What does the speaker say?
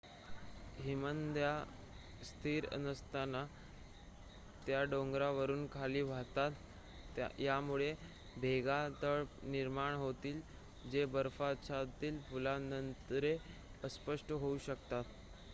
हिमनद्या स्थिर नसतात त्या डोंगरावरून खाली वाहतात यामुळे भेगा तडे निर्माण होतील जे बर्फाच्छादित पुलांद्वारे अस्पष्ट होऊ शकतात